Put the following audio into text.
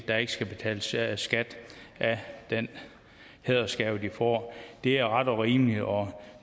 der ikke skal betales skat skat af den hædersgave de får det er ret og rimeligt og